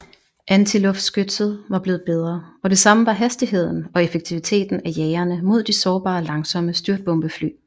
Antiluftskytset var blevet bedre og det samme var hastigheden og effektiviteten af jagerne mod de sårbare langsomme styrtbombefly